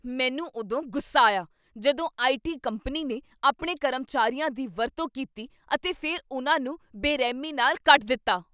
ਮੈਨੂੰ ਉਦੋਂ ਗੁੱਸਾ ਆਇਆ ਜਦੋਂ ਆਈ.ਟੀ. ਕੰਪਨੀ ਨੇ ਆਪਣੇ ਕਰਮਚਾਰੀਆਂ ਦੀ ਵਰਤੋਂ ਕੀਤੀ ਅਤੇ ਫਿਰ ਉਨ੍ਹਾਂ ਨੂੰ ਬੇਰਹਿਮੀ ਨਾਲ ਕੱਢ ਦਿੱਤਾ।